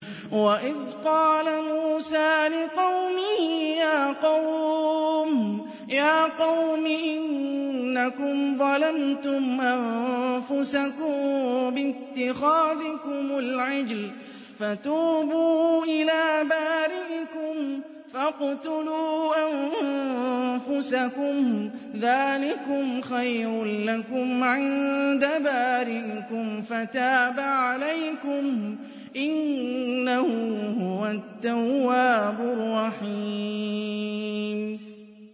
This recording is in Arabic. وَإِذْ قَالَ مُوسَىٰ لِقَوْمِهِ يَا قَوْمِ إِنَّكُمْ ظَلَمْتُمْ أَنفُسَكُم بِاتِّخَاذِكُمُ الْعِجْلَ فَتُوبُوا إِلَىٰ بَارِئِكُمْ فَاقْتُلُوا أَنفُسَكُمْ ذَٰلِكُمْ خَيْرٌ لَّكُمْ عِندَ بَارِئِكُمْ فَتَابَ عَلَيْكُمْ ۚ إِنَّهُ هُوَ التَّوَّابُ الرَّحِيمُ